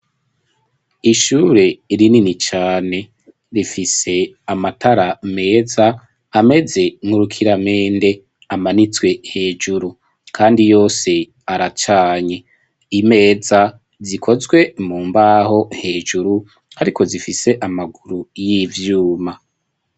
ishure rinini cyane rifise amatara meza ameze nk'urukiramende amanitswe hejuru kandi yose aracanye imeza zikozwe mu mbaho hejuru ariko zifise amaguru y'ivyuma